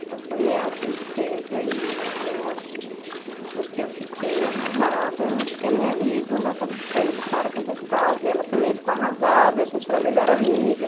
Então foi minha tristeza e horror, porque eu fiquei arrasada, porque a minha ídola estava ficando com o cara que eu gostava, e ela também ficou arrasada, a gente era a melhor amiga.